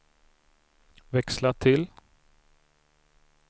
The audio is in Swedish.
växla till